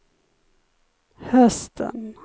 hösten